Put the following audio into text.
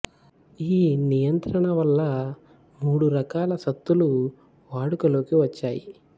ఈ నియంత్రనణ వల్ల మూడు రకాల సత్తులు వాడుకలోకి వచ్చేయి